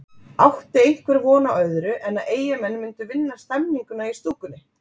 Átti einhver von á öðru en að Eyjamenn myndu vinna stemninguna í stúkunni?